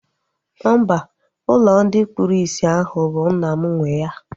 Mba, ụlọ ndị kpụrụ isi ahụ bụ nna m nwee ya